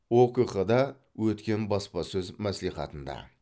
окқ да өткен баспасөз мәслихатында